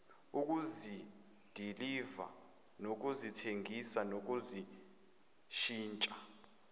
ukuzidiliva nokuzithengisa nokuzishintsha